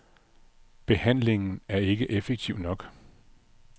Behandlingen er ikke effektiv nok.